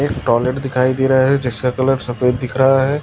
एक टॉयलेट दिखाई दे रहा है जिसका कलर सफेद दिख रहा है।